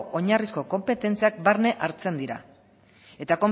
oinarrizko konpetentziak barne hartzen dira eta